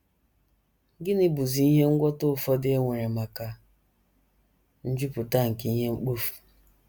Gịnịzi bụ ihe ngwọta ụfọdụ e nwere maka njupụta nke ihe mkpofu?